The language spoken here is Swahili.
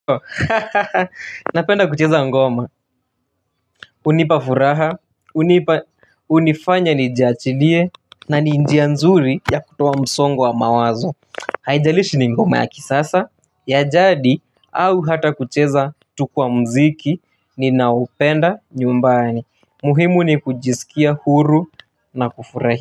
Hahaha napenda kucheza ngoma hunapa furaha hunifanya njiachilie na njia nzuri ya kutoa msongo wa mawazo haijalishi ni ngoma ya kisasa ya jadi au hata kucheza tuku wa mziki ninaupenda nyumbani muhimu ni kujisikia huru na kufurahi.